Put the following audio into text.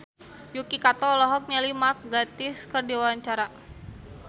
Yuki Kato olohok ningali Mark Gatiss keur diwawancara